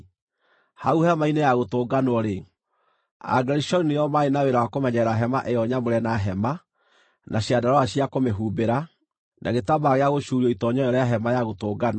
Hau Hema-inĩ-ya-Gũtũnganwo-rĩ, Agerishoni nĩo maarĩ na wĩra wa kũmenyerera Hema-ĩyo-Nyamũre na hema, na ciandarũa cia kũmĩhumbĩra, na gĩtambaya gĩa gũcuurio itoonyero rĩa Hema-ya-Gũtũnganwo,